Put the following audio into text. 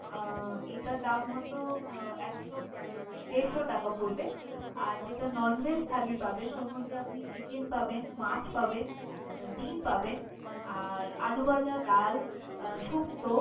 আহ এটার দাম হয়তো আহ একশো দেড়শ টাকা পরবে। আর যেটা non veg থালি পাবেন ওর মধ্যে আপনি chicken পাবেন, মাছ পাবেন আহ ডিম পাবেন আর আলু ভাঁজা, ডাল আহ সুপথ্য